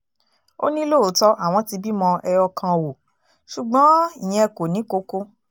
ó ní lóòótọ́ àwọn ti bímọ ẹyọ kan ò ṣùgbọ́n ìyẹn kò ní koko